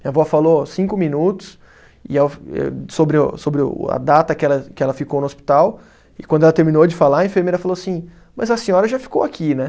Minha vó falou cinco minutos e a sobre o, sobre o a data que ela, que ela ficou no hospital e quando ela terminou de falar, a enfermeira falou assim, mas a senhora já ficou aqui, né?